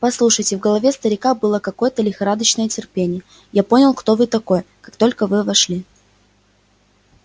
послушайте в голове старика было какое-то лихорадочное терпение я понял кто вы такой как только вы вошли